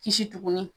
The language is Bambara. Kisi tuguni